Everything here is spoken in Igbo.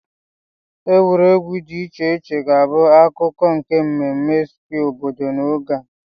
Egwuregwu dị iche iche ga-abụ akụkụ nke mmemme Square obodo n'oge a.